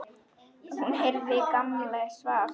Hún heyrði að Gamli svaf.